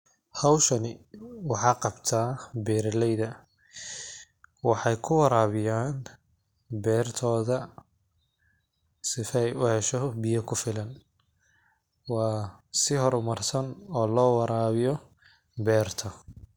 Hawshani waxaa qabta beerileyda. Waxay ku waraawiyaan beertooda sifay keheesho biyo ku filan. Waa si horumarsan oo loo waraawiyo beerto.